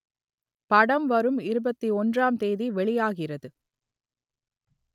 படம் வரும் இருபத்தி ஒன்றாம் தேதி வெளியாகிறது